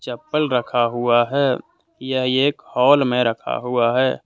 चप्पल रखा हुआ है यह एक हॉल में रखा हुआ है।